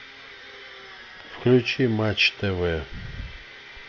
включи матч тв